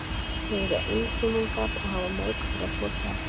Þau eru einfrumungar og hafa mörg þeirra tvo kjarna.